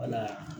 Wala